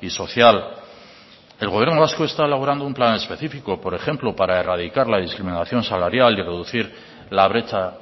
y social el gobierno vasco está elaborando un plan específico por ejemplo para erradicar la discriminación salarial y reducir la brecha